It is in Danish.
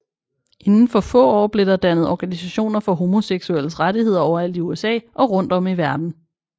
Inden for få år blev der dannet organisationer for homoseksuelles rettigheder overalt i USA og rundt om i verden